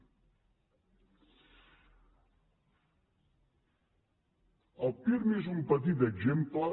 el pirmi és un petit exemple